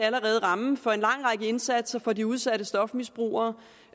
rammen for en lang række indsatser for de udsatte stofmisbrugere